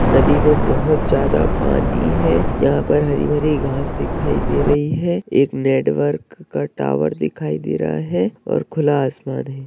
नदी में बहोत ज्यादा पानी है जहाँ पर हरी-भरी घास दिखाई दे रही हैं एक नेटवर्क का टावर दिखाई दे रहा है और खुला आसमान है।